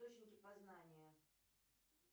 источники познания